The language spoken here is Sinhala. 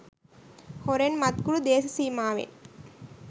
හොරෙන් මත්කුඩු දේශසීමාවෙන්